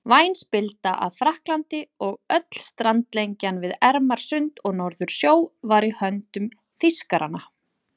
Væn spilda af Frakklandi og öll strandlengjan við Ermarsund og Norðursjó var í höndum Þýskaranna.